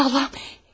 Aman Allahım!